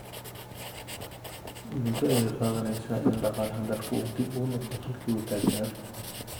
Muddo ayay qaadanaysaa in dhaqaalaha dalku uu dib ugu noqdo halkii uu taagnaa.